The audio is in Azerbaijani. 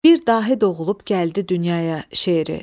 Bir dahi doğulub gəldi dünyaya şeiri.